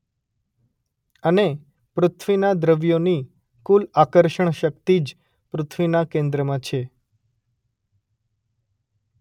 અને પૃથ્વીના દ્રવ્યોની કુલ આકર્ષણ શક્તિ જ પૃથ્વીના કેન્દ્રમાં છે